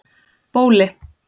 Bóli